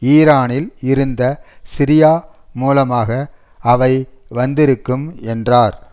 ஈரானில் இருந்த சிரியா மூலமாக அவை வந்திருக்கும் என்றார்